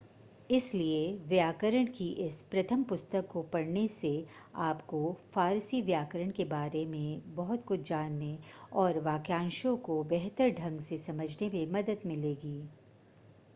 इसलिए व्याकरण की इस प्रथम पुस्तक को पढ़ने से आपको फारसी व्याकरण के बारे में बहुत कुछ जानने और वाक्यांशों को बेहतर ढंग से समझने में मदद मिलेगी